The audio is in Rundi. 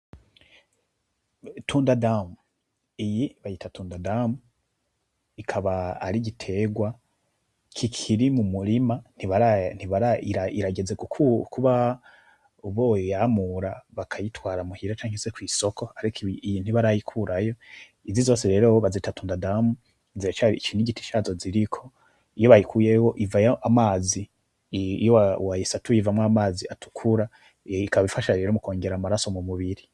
Itunda ndamu, iyi bayita tunda ndamu, ikaba ari igiterwa kikiri mumurima irageze kuba boyamura bakayitwara muhira canke se mwisoko ariko iyi ntibarayikurayo, izi zose rero bazita tunda ndamu iki nigiti cazo ziriko, iyo bayikuyeho ivayo amazi, iyo wayisatuye ivamwo amazi atukura ikaba ifasha rero mukwongera amaraso mumubiri.